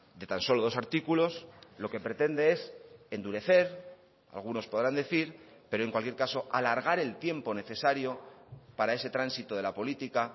de tan solo dos artículos lo que pretende es endurecer algunos podrán decir pero en cualquier caso alargar el tiempo necesario para ese tránsito de la política